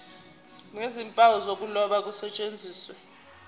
nezimpawu zokuloba kusetshenziswe